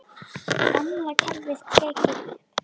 Gamla kerfið tekið upp?